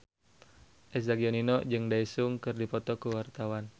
Eza Gionino jeung Daesung keur dipoto ku wartawan